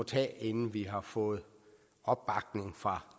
tage inden vi har fået opbakning fra